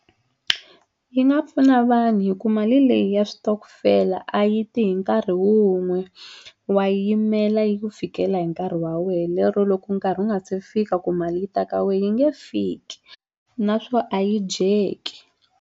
Yi nga pfuna vanhu hi ku mali leyi ya switokofela a yi ti hi nkarhi wun'we wa yimela yi ku fikela hi nkarhi wa wehe lero loko nkarhi wu nga se fika ku mali yi ta ka wehe yi nge fiki naswo a yi dyeki.